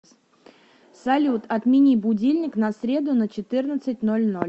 салют отмени будильник на среду на четырнадцать ноль ноль